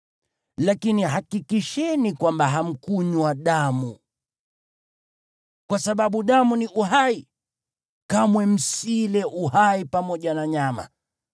Lakini hakikisheni kwamba hamkunywa damu, kwa sababu damu ni uhai, kamwe msile uhai pamoja na nyama.